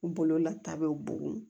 Bololata bɛ bugun